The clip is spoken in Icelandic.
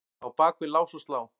á bak við lás og slá.